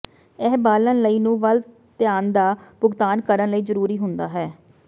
ਇਹ ਬਾਲਣ ਲਈ ਨੂ ਵੱਲ ਧਿਆਨ ਦਾ ਭੁਗਤਾਨ ਕਰਨ ਲਈ ਜ਼ਰੂਰੀ ਹੁੰਦਾ ਹੈ